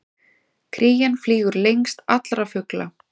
Krían flýgur lengst allra fugla!